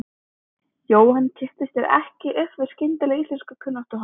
Jóhann kippti sér ekki upp við skyndilega íslenskukunnáttu hans.